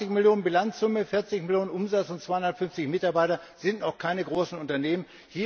20 Millionen Bilanzsumme, 40 Millionen Umsatz und 250 Mitarbeiter sind noch keine großen Unternehmen.